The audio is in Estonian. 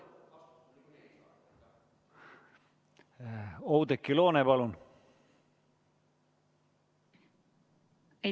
Oudekki Loone, palun!